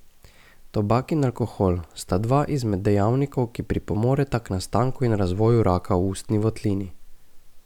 Tobak in alkohol sta dva izmed dejavnikov, ki pripomoreta k nastanku in razvoju raka v ustni votlini.